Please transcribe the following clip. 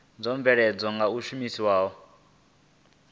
dzo bveledzwaho nga u shumiswa